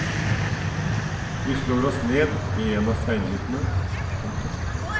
Vi slår oss ned ved en av steinhyttene. punktum